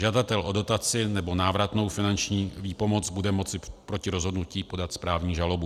Žadatel o dotaci nebo návratnou finanční výpomoc bude moci proti rozhodnutí podat správní žalobu.